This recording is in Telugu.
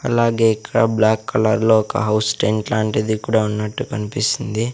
అలాగే ఇక్కడ బ్లాక్ కలర్ లో ఒక హౌస్ టెంట్ లాంటిది కూడా ఉన్నట్టు కన్పిస్తుంది.